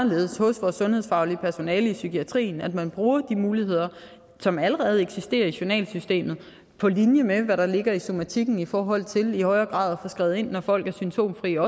anderledes hos vores sundhedsfaglige personale i psykiatrien altså at man bruger de muligheder som allerede eksisterer i journalsystemet på linje med hvad der ligger i somatikken i forhold til i højere grad at få skrevet ind når folk er symptomfrie og